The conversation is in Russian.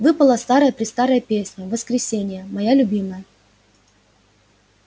выпала старая-престарая песня воскресения моя любимая